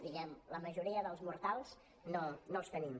diguem ne la majoria dels mortals no els tenim